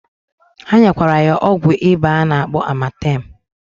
Ha nyekwara ya ọgwụ ịba a na-akpọ amatem.